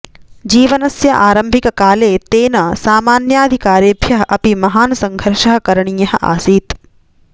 जीवनस्य आरम्भिककाले तेन सामान्याधिकारेभ्यः अपि महान् सङ्घर्षः करणीयः आसीत्